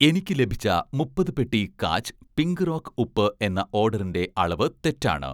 എനിക്ക് ലഭിച്ച, മുപ്പത് പെട്ടി 'കാച്ച്' പിങ്ക് റോക്ക് ഉപ്പ് എന്ന ഓഡറിന്‍റെ അളവ് തെറ്റാണ്.